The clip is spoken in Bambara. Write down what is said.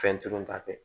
Fɛn tulu ta tɛ